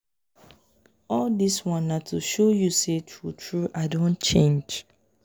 all dis one na to show you sey true-true i don change.